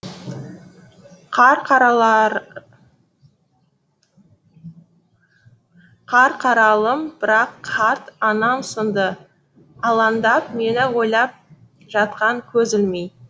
қарқаралым бірақ қарт анам сынды алаңдап мені ойлап жатқан көз ілмей